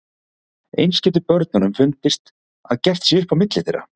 Eins getur börnunum fundist að gert sé upp á milli þeirra.